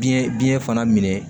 Biyɛn biyɛn fana minɛ